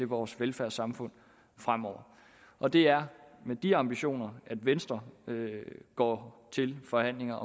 vores velfærdssamfund fremover og det er med de ambitioner at venstre går til forhandlingerne